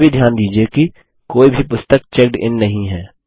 यह भी ध्यान दीजिये कि कोई भी पुस्तक चेक्ड इन नहीं है